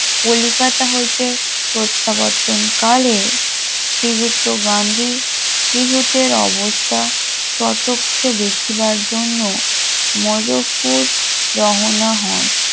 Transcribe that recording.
কলিকাতা হইতে প্রত্যাবর্তন কালে শ্রীযুক্ত গান্ধী ত্রিহুতের অবস্থা স্বচক্ষে দেখিবার জন্য মজফরপুর রহনা হন